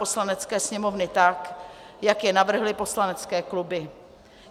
Poslanecké sněmovny tak, jak je navrhly poslanecké kluby.